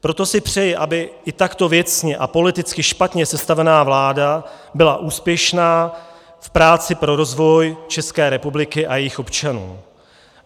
Proto si přeji, aby i takto věcně a politicky špatně sestavená vláda byla úspěšná v práci pro rozvoj České republiky a jejích občanů.